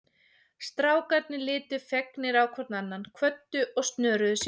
Strákarnir litu fegnir hvor á annan, kvöddu og snöruðu sér út.